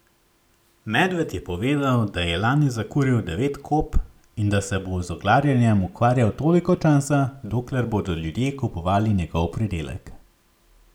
Medved je povedal, da je lani zakuril devet kop in da se bo z oglarjenjem ukvarjal toliko časa, dokler bodo ljudje kupovali njegov pridelek.